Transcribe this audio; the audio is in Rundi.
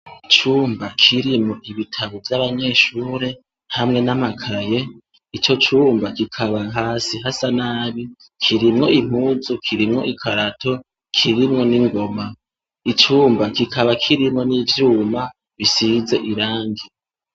Icumba kirimwo ibitabo vy'abanyeshure hamwe n'amakaye, ico cumba kikaba hasi hasa nabi. Kirimwo impuzu, kirimwo ikarato, kirimwo n'ingoma. Icumba kikaba kirimwo n'ivyuma bisize irangi.